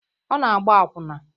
Ọ na-agba akwụna.